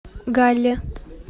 галле